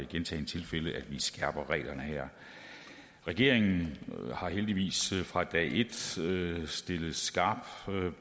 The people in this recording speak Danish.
gentagne tilfælde skærper reglerne her regeringen har heldigvis fra dag et stillet stillet skarpt